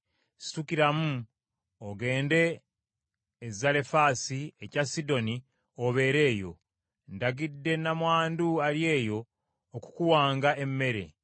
“Situkiramu ogende e Zalefaasi ekya Sidoni obeere eyo. Ndagidde nnamwandu ali eyo okukuwanga emmere.”